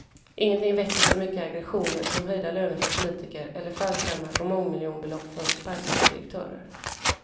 Ingenting väcker så mycket aggressioner som höjda löner för politiker eller fallskärmar på mångmiljonbelopp för sparkade direktörer.